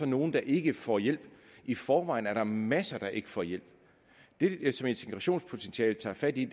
nogle der ikke får hjælp i forvejen er der masser der ikke får hjælp det som integrationspotentialet tager fat i